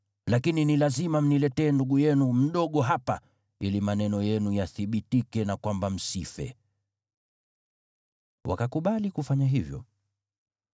Lakini ni lazima mniletee ndugu yenu mdogo hapa, ili maneno yenu yathibitike na kwamba msife.” Wakakubali kufanya hivyo.